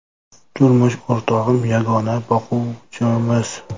Turmush o‘rtog‘im yagona boquvchimiz.